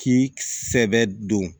K'i sɛbɛ don